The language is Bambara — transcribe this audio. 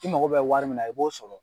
i mago bɛ wari min na i b'o sɔrɔ.